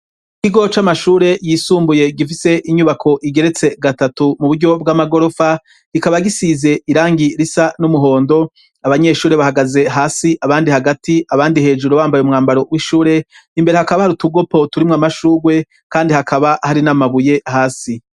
Ikigo c'amashure yisumbuye gifise inyubako igeretse gatatu mu buryo bw'amagorofa, gikaba gisize irangi risa n'umuhondo abanyeshure bahagaze hasi abandi hagati abandi hejuru bambaye umwambaro w'ishure imbere hakaba hari utugopo turimwo amashuwe kandi hakaba hari n'amabuye hasi.